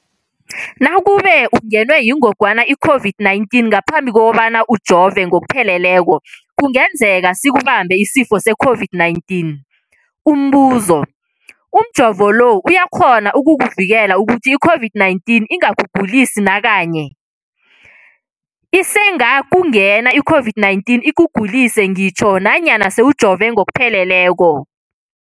Nakube ungenwe yingogwana i-COVID-19 ngaphambi kobana ujove ngokupheleleko, kungenzeka sikubambe isifo se-COVID-19. Umbuzo, umjovo lo uyakghona ukukuvikela ukuthi i-COVID-19 ingakugulisi nakanye? Isengakungena i-COVID-19 ikugulise ngitjho nanyana sewujove ngokupheleleko.